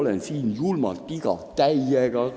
Olen siin, julmalt igav, täiega!